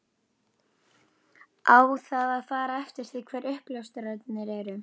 Á það að fara eftir því hver uppljóstrarinn er?